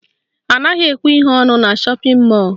Anaghị ekwe ihe ọnụ na shọpịn mọlụ